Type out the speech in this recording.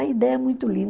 A ideia é muito